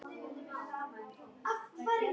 Víst seint, því miður.